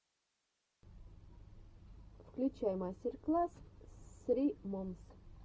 включай мастер класс ссри момс